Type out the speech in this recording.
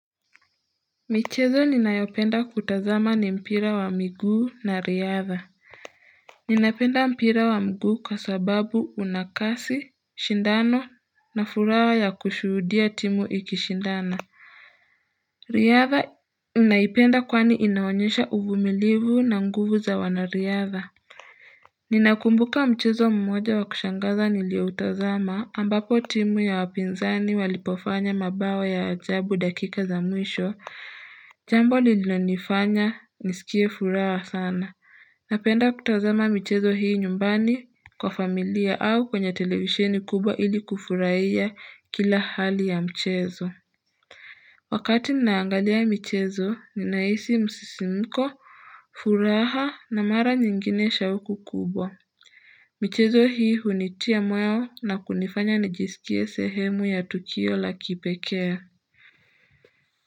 Michezo ninayopenda kutazama ni mpira wa miguu na riadha Ninapenda mpira wa mguu kwa sababu una kasi, shindano na furaha ya kushudia timu ikishindana Riadha naipenda kwani inaonyesha uvumilivu na nguvu za wanariadha Ninakumbuka mchezo mmoja wakushangaza nilioutazama ambapo timu ya wapinzani walipofanya mabao ya ajabu dakika za mwisho Jambo lilionifanya nisikie furaha sana Napenda kutazama michezo hii nyumbani kwa familia au kwenye televisheni kubwa ili kufurahia kila hali ya mchezo Wakati ninaangalia michezo ninaisi msisimko, furaha na mara nyingine shawuku kubwa michezo hii hunitia moyo na kunifanya nijisikie sehemu ya tukio la kipekea.